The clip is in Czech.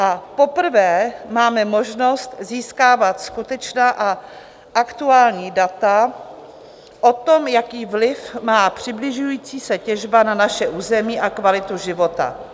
A poprvé máme možnost získávat skutečná a aktuální data o tom, jaký vliv má přibližující se těžba na naše území a kvalitu života.